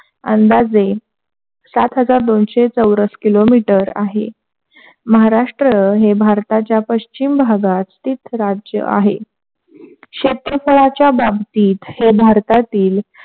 अंदाजे सात हजार दोनशे चौरस किलोमीटर आहे. महाराष्ट्र भारताच्या पश्चिम भागात स्थित राज्य आहे. क्षेत्रफळाच्या बाबतीत हे भारतातील,